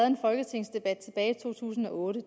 en folketingsdebat tilbage i to tusind og otte